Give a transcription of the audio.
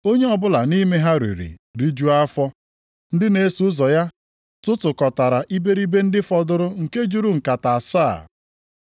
Onye ọbụla nʼime ha riri, rijuo afọ. Ndị na-eso ụzọ ya tụtụkọtara iberibe ndị fọdụrụ nke juru nkata asaa.